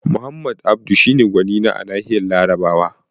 Muhammad Abdu shi ne gwanina a nahiyar Larabawa